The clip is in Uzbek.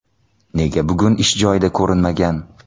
Nega bugun ish joyida ko‘rinmagan?